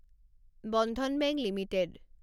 Bandhan bank limited